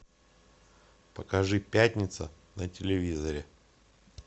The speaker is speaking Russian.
покажи пятница на телевизоре